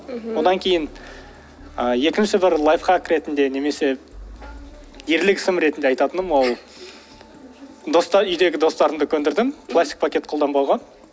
мхм одан кейін ы екінші бір лайфхак ретинде немесе ерлік ісім ретінде айтатыным ол үйдегі достарымды көндірдім пластик пакет қолданбауға